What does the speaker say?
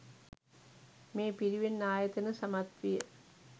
මේ පිරිවෙන් ආයතන සමත් විය.